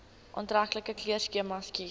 aantreklike kleurskema kies